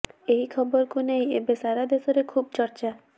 ଏହି ଖବରକୁ ନେଇ ଏବେ ସାରା ଦେଶରେ ଖୁବ୍ ଚର୍ଚ୍ଚା